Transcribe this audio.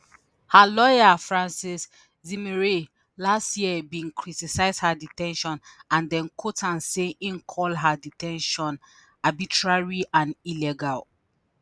her lawyer francois zimeray last year bin criticise her de ten tion and dem quote am say im call her de ten tion arbitrary and illegal.